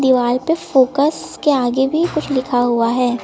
Wall पे fox के आगे भी कुछ लिखा हुआ है।